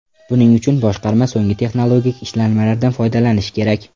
Buning uchun boshqarma so‘nggi texnologik ishlanmalardan foydalanishi kerak.